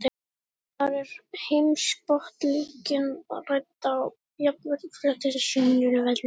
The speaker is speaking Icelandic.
Þar er heimspólitíkin rædd á jafnréttisgrundvelli.